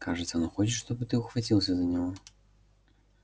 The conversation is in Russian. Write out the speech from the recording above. кажется он хочет чтобы ты ухватился за него